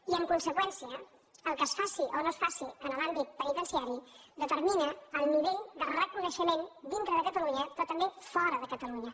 i en conseqüència el que es faci o no es faci en l’àmbit penitenciari determina el nivell de reconeixement dintre de catalunya però també fora de catalunya